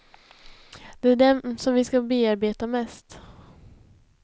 Det är dem som vi ska bearbeta mest.